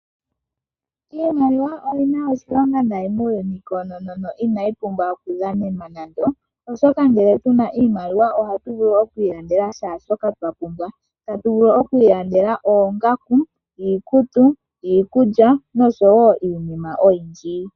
Iimaliwa oyi na oshilonga nayi muuyuni koonono inayi pumbwa oku dhanenwa nande, oshoka ngele tuna iimaliwa ohatu vulu okwi ilandela shaashoka twa pumbwa tatu vulu okwi ilandela oongaku, iikutu, iikulya noshowo iinima oyindji.